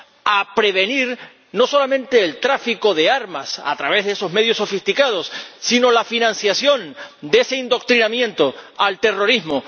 a prevenir no solamente el tráfico de armas, a través de esos medios sofisticados, sino la financiación de ese adoctrinamiento en el terrorismo